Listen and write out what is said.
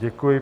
Děkuji.